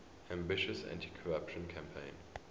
ambitious anticorruption campaign